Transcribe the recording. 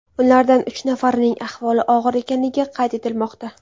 Ulardan uch nafarining ahvoli og‘ir ekanligi qayd etilmoqda.